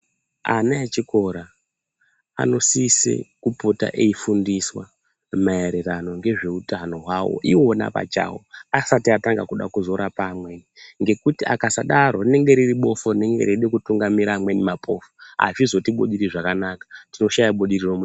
Ana echikora anosise kupota echifundiswa maererano ngezveutano hwawo iwona pachawo asati ada kutanga kuzorapa amweni ngekuti vakasadaro rinenge riri bofu rinenge reida kutungamira amweni mapofu azvizotibudiri zvakanaka tinoshaya budiriro munyika.